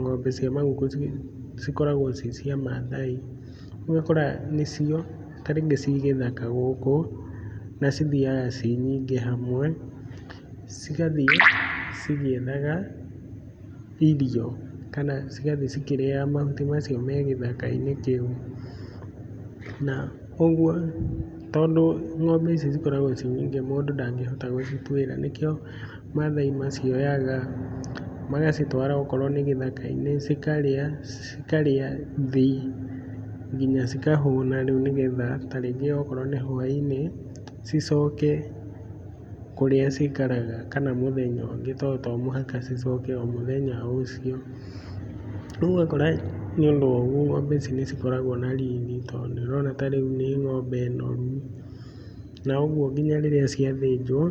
ng'ombe cia maguku cikoragwo ci cia Maathai. Rĩu ũgakora nĩcio ta rĩngĩ ci gĩthaka gũkũ, na cithiaga ci nyingĩ hamwe, cigathiĩ cigĩethaga irio kana cigathiĩ cikĩrĩaga mahuti macio me gĩthaka-inĩ kĩu. Na ũguo tondũ ng'ombe ici cikoragwo ci nyingĩ mũndũ ndangĩhota gũcituĩra, nĩkĩo Maathai macioyaga, magacitwara okorwo nĩ gĩthaka-inĩ, cikarĩa cikarĩa thĩ nginya cikahũna rĩu nĩgetha ta rĩngĩ okorwo nĩ hwainĩ, cicoke kũrĩa cikaraga kana mũthenya ũngĩ tondũ to mũhaka cicoke o mũthenya o ũcio. Rĩu ũgakora nĩũndũ wa ũguo ng'ombe ici nĩcikoragwo na riri tondũ nĩũrona ta rĩu nĩ ng'ombe noru na ũguo nginya rĩrĩa ciathĩnjwo